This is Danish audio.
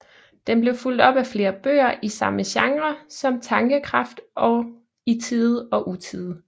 Den blev fulgt op af flere bøger i samme genre som Tankekraft og I Tide og Utide